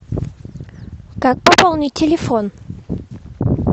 как пополнить телефон